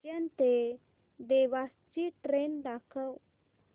उज्जैन ते देवास ची ट्रेन दाखव